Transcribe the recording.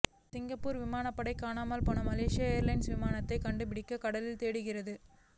Singapore விமானப்படை காணாமல் போன மலேசிய ஏர்லைன்ஸ் விமானத்தை கண்டுபிடிக்க கடலில் தேடுகிறது